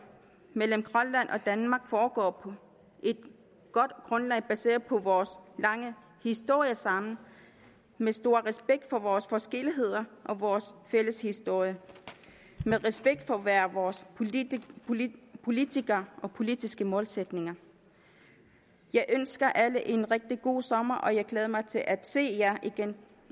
mellem grønland og danmark foregår på et godt grundlag baseret på vores lange historie sammen med stor respekt for vores forskelligheder og vores fælles historie med respekt for hver vores politikere og politiske målsætninger jeg ønsker alle en rigtig god sommer og jeg glæder mig til at se jer igen